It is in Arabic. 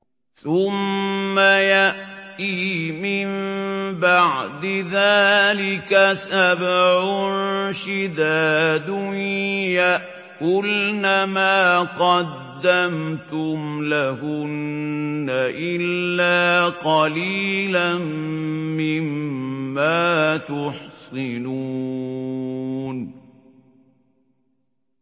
ثُمَّ يَأْتِي مِن بَعْدِ ذَٰلِكَ سَبْعٌ شِدَادٌ يَأْكُلْنَ مَا قَدَّمْتُمْ لَهُنَّ إِلَّا قَلِيلًا مِّمَّا تُحْصِنُونَ